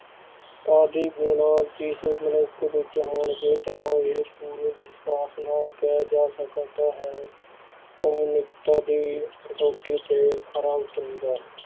ਆਦਿ ਗੁਣ ਜਿਸ ਮਨੁੱਖ ਵਿੱਚ ਹੋਣਗੇ ਤਾਂ ਇਹ ਪੂਰੇ ਵਿਸ਼ਵਾਸ ਨਾਲ ਕਿਹਾ ਜਾ ਸਕਦਾ ਹੈ ਉਹ ਮਨੁੱਖਤਾ ਦੀ ਕਸੌਟੀ ਤੇ ਖਰਾ ਉੱਤਰੇਗਾ।